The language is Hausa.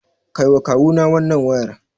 Kaiwa Kawuna wannan wayar.